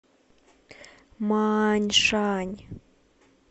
мааньшань